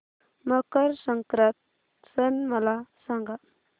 मकर संक्रांत सण मला सांगा